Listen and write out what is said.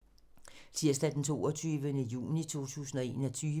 Tirsdag d. 22. juni 2021